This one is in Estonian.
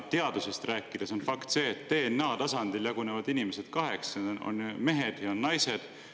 Teadusest rääkides on fakt see, et DNA tasandil jagunevad inimesed kaheks: on mehed ja on naised.